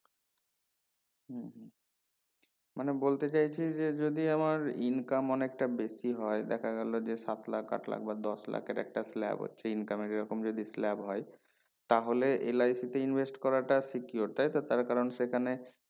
মানে বলতে চাইছি যে যদি আমার income অনেকটা বেশি হয় দেখা গেলো যে সাত লাখ আট লাখ বা দশ লাখ একটা slab হচ্ছে income এর এই রকম যদি slab হয় তাহলে LIC তে invest করাটা secure তাই তো তারা কারণ সেখানে